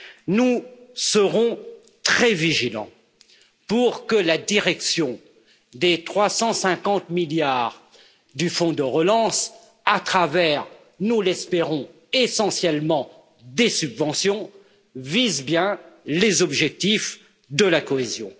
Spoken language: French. Nous serons très vigilants pour que la direction des 350 milliards du fonds de relance, à travers, nous l'espérons, essentiellement des subventions, vise bien les objectifs de la cohésion.